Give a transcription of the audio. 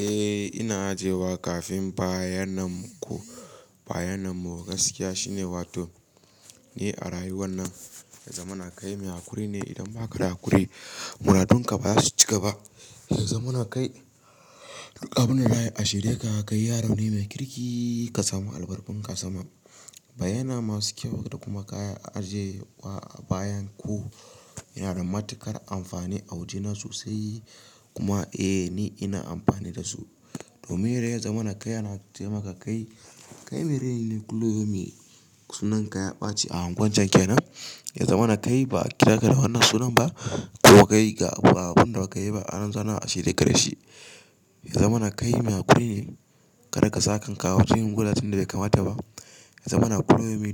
Eh ina ajiye wa kafin bayananku, bayananku gaskiya shine wato ne a rayuwan nan. Yazama kai mai hakuri ne idan ba ka da hakuri, muradun ka ba za su cika ba. Yanzu muna kai duk abin da rayu a shirye ka kai yaro ne mai kirki ka samu abarbarun ka saman. Baya nan masu kyau, idan kuma ka ajiye bayan ku, yanasa matukar amfani sosai kuma eh ni ina amfani da su. Domin idan ya zamana kai ana taimaka kai, kai mai rai ne kulomi sunan ka ya ɓace a anguwan can kenan. Yanzu muna kai ba kira ka da wannan sunan ba ko ka kai ga abun da ba ka yi ba an zana a shirye gare shi. Ya zamana kai mai hakuri ne ka daga sa kanka awajen gulatin da bai kamata ba. Ya zamana